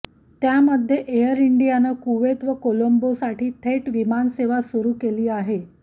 त्यामध्ये एअर इंडियानं कुवैत व कोलोंबोसाठी थेट विमानसेवा सुरू केली आहे